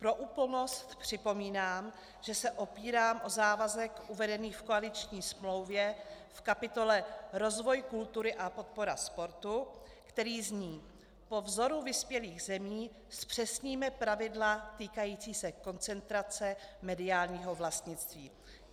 Pro úplnost připomínám, že se opírám o závazek uvedený v koaliční smlouvě v kapitole Rozvoj kultury a podpora sportu, který zní: Po vzoru vyspělých zemí zpřesníme pravidla týkající se koncentrace mediálního vlastnictví.